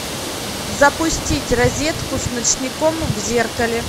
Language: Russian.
запустить розетку с ночником в зеркале